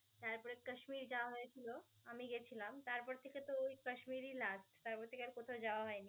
তারপরে কাশ্মীরি যাওয়া হয়েছিল. আমি গেছিলাম. তারপর থেকে তো কাশ্মীরি last তারপর থেকে আর কোথাও যাওয়া হয়নি.